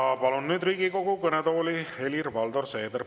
Ja palun Riigikogu kõnetooli Helir-Valdor Seederi!